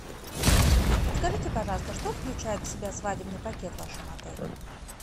подскажите пожалуйста что включает в себя свадебный пакет в вашем отеле